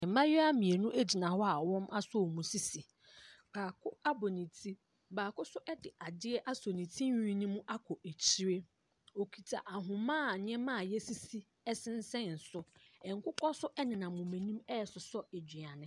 Mmaayewa mmienu gyina hɔ a wɔasɔ wɔn sisi. Baako abɔ ne ti, baako nso de adeɛ asɔ ne tirinwi no mu akɔ akyire. Ɔkita ahoma a nneɛma a wɔasisi sensɛn so. Nkokɔ nso nenam wɔn anim resosɔ aduane.